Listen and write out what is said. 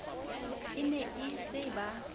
e ne e se ba